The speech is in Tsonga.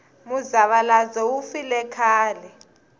muzavalazo wu file khale